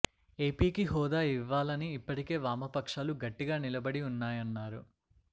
ఏపీకి హోదా ఇవ్వా లని ఇప్పటికే వామపక్షాలు గట్టిగా నిలబడి ఉన్నాయన్నారు